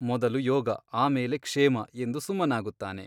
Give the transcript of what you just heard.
ಮೊದಲು ಯೋಗ ಆಮೇಲೆ ಕ್ಷೇಮ ಎಂದು ಸುಮ್ಮನಾಗುತ್ತಾನೆ.